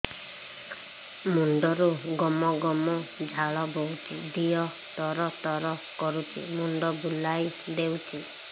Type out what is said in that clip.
ମୁଣ୍ଡରୁ ଗମ ଗମ ଝାଳ ବହୁଛି ଦିହ ତର ତର କରୁଛି ମୁଣ୍ଡ ବୁଲାଇ ଦେଉଛି